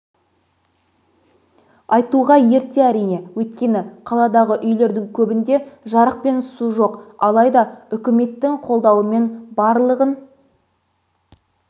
айтуға ерте әрине өйткені қаладағы үйлердің көбінде жарық пен су жоқ алайда үкіметтің қолдауымен барлығын